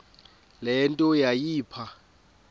le nto yayipha